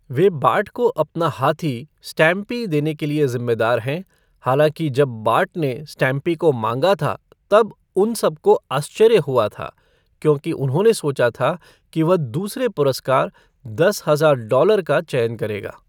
वे Bart को अपना हाथी, स्टैम्पी देने के लिए जिम्मेदार हैं, हालांकि जब बार्ट ने स्टैम्पी को माँगा था तब उन सबको आश्चर्य हुआ था, क्योंकि उन्होंने सोचा था कि वह दूसरे पुरस्कार, दस हजार डॉलर, का चयन करेगा।